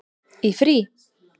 Í frí?